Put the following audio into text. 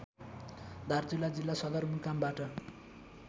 दार्चुला जिल्ला सदरमुकामबाट